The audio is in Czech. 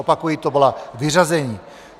Opakuji, to byla vyřazení.